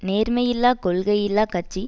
நேர்மையில்லா கொள்கையில்லா கட்சி